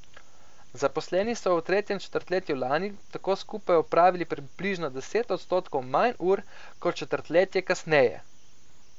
Zaposleni so v tretjem četrtletju lani tako skupaj opravili približno deset odstotkov manj ur kot četrtletje kasneje.